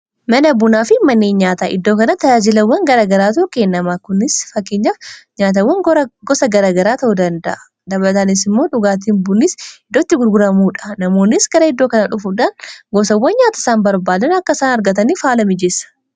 mana bunaa fi mannei nyaata iddoo kana tajaajilawwan garagaraa tokeennamaa kunis fakkiinyaaf nyaatawwan gosa garagaraa ta'uu danda'a dabataanisimmoo dhugaatiin bunis iddootti gurguramuudha namoonnis gara iddoo kana dhufuudhaan gosawwan nyaata isaan barbaadan akka saan argataniif haala mijeessa